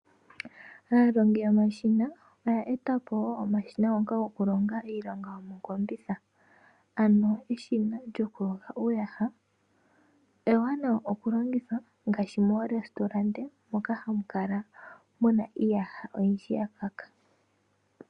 Aalongi yomashina, oya etapo wo omashina ngoka goku longa iilonga yomokombitha, ano eshina lyoku yoga uuyaha, ewanawa oku longithwa ngaashi moorestauranda moka hamu kala muna iiyaha oyindji ya kaka.